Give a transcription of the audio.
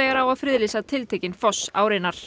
þegar á að friðlýsa tiltekinn foss árinnar